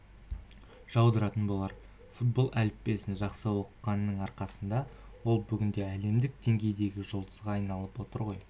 жаудыратын болар футбол әліппесін жақсы оқығанының арқасында ол бүгінде әлемдік деңгейдегі жұлдызға айналып отыр ғой